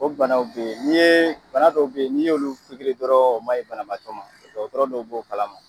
O banaw be ye bana dɔw be ye n'i y'olu pigiri dɔrɔn o maɲi banabagatɔ ma dɔgɔtɔrɔ b'o kalama